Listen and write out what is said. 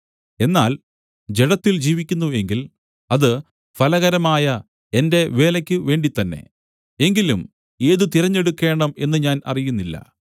എന്നാൽ ജഡത്തിൽ ജീവിക്കുന്നു എങ്കിൽ അത് ഫലകരമായ എന്റെ വേലയ്ക്കു വേണ്ടിത്തന്നെ എങ്കിലും ഏത് തിരഞ്ഞെടുക്കേണം എന്ന് ഞാൻ അറിയുന്നില്ല